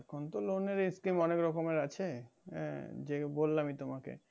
এখন তো loan এর skim অনেক রকমের আছে যে বললামই তোমাকে